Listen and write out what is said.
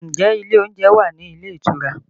Ǹjẹ́ ilé oúnjẹ wà ní ilé ìtura?